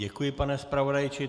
Děkuji, pane zpravodaji.